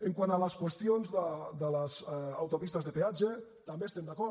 quant a les qüestions de les autopistes de peatge també hi estem d’acord